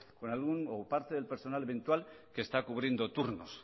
con algún o parte del personal eventual que está cubriendo turnos